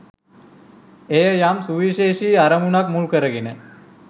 එය යම් සුවිශේෂි අරමුණක් මුල් කරගෙන